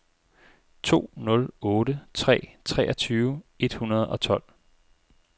to nul otte tre treogtyve et hundrede og tolv